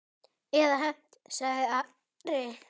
Eða hefnt, sagði Ari.